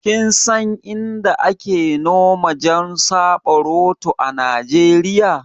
Kinsan Inda ake noma jan saɓaroto a Nijeriya?